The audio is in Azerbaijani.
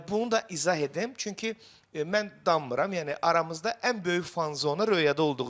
Bunu da izah edim, çünki mən dammıram, yəni aramızda ən böyük fanzona Röyada olduğu üçün.